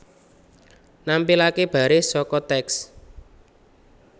Nampilaké baris saka teks